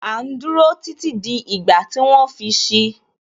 À ń dúró títí di ìgbà tí wọ́n fi si